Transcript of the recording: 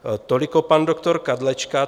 Toliko pan doktor Kadlečka.